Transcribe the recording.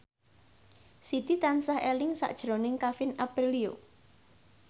Siti tansah eling sakjroning Kevin Aprilio